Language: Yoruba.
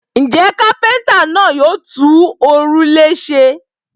Ǹjẹ́ kápẹ́ńtà náà yóò tún òrùlé ṣe?